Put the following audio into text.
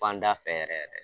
Fanda fɛ yɛrɛ yɛrɛ dɛ